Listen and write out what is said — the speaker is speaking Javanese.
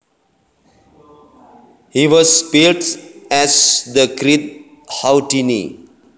He was billed as The Great Houdini